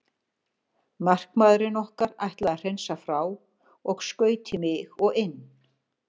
Markamaðurinn okkar ætlaði að hreinsa frá og skaut í mig og inn.